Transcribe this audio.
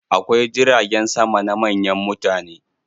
Akwai jiragen sama na manyan mutane.